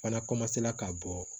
Fana ka bɔ